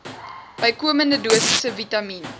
bykomende dosisse vitamien